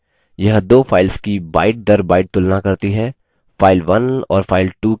यह दो files की byteदरbyte तुलना करती है